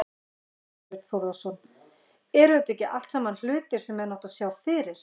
Þorbjörn Þórðarson: Eru þetta ekki allt saman hlutir sem menn áttu að sjá fyrir?